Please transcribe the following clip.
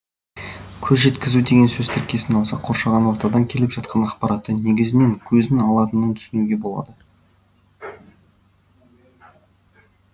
көз жеткізу деген сөз тіркесін алсақ қоршаған ортадан келіп жатқан ақпаратты негізінен көздің алатынын түсінуге болады